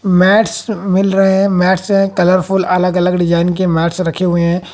Mats मिल रहे हैं मैट्स है कलरफुल अलग अलग डिजाइन के मैट्स रखे हुए हैं।